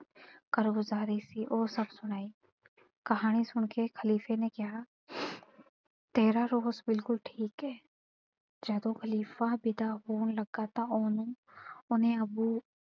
ਕਾਰਗੁਜ਼ਾਰੀ ਸੀ ਉਹ ਸਭ ਸੁਣਾਈ। ਕਹਾਣੀ ਸੁਣ ਕੇ ਖ਼ਲੀਫ਼ੇ ਨੇ ਕਿਹਾ ਤੇਰਾ ਰੋਸ ਬਿਲਕੁੱਲ ਠੀਕ ਏ ਜਦੋਂ ਖ਼ਲੀਫ਼ਾ ਵਿਦਾ ਹੋਣ ਲੱਗਾ ਤਾਂ ਉਹਨੂੰ ਉਹਨੇ ਅੱਬੂ,